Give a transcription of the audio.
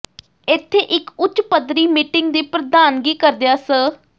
ਇੱਥੇ ਇਕ ਉੱਚ ਪੱਧਰੀ ਮੀਟਿੰਗ ਦੀ ਪ੍ਰਧਾਨਗੀ ਕਰਦਿਆਂ ਸ